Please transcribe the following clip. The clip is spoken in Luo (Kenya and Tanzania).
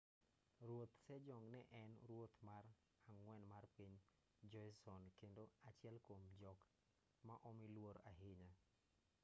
ruoth sejong ne en ruoth mar ang'wen mar piny joseon kendo achiel kuom jok ma omi luor ahinya